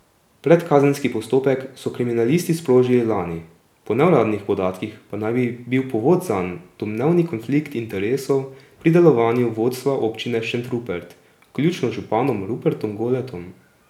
Predkazenski postopek so kriminalisti sprožili lani, po neuradnih podatkih pa naj bi bil povod zanj domnevni konflikt interesov pri delovanju vodstva občine Šentrupert vključno z županom Rupertom Goletom.